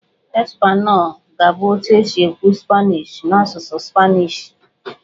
"Español" ga-abụ otu esi ekwu "Spanish" n'asụsụ Spanishi.